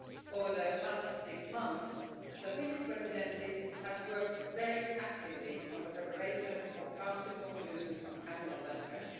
Over the last six months, the Finnish Presidency has worked very actively on the preparation of Council conclusions on animal welfare.